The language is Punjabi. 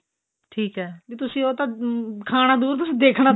ਠੀਕ ਏ ਵੀ ਤੁਸੀਂ ਉਹ ਤਾਂ ਖਾਣਾ ਦੂਰ ਤੁਸੀਂ ਦੇਖਣਾ ਤੱਕ